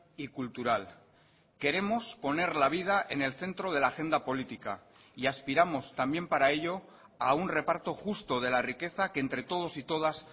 y cultural queremos poner la vida en el centro de la agenda política y aspiramos también para ello a un reparto justo de la riqueza que entre todos y todas